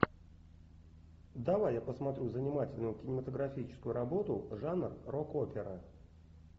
давай я посмотрю занимательную кинематографическую работу жанр рок опера